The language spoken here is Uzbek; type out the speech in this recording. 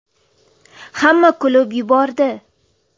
Hamma kulib yubordi.